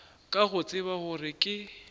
ka go tseba gore ke